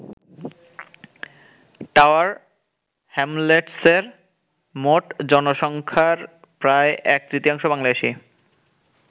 Tower হ্যামলেটসের মোট জনসংখ্যার প্রায় এক তৃতীয়াংশ বাংলাদেশি।